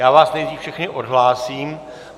Já vás nejdřív všechny odhlásím.